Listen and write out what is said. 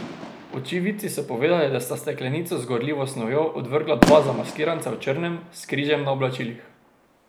Očividci so povedali, da sta steklenico z gorljivo snovjo odvrgla dva zamaskiranca v črnem, s križem na oblačilih.